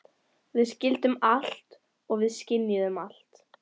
Við skildum allt og við skynjuðum allt.